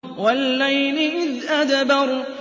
وَاللَّيْلِ إِذْ أَدْبَرَ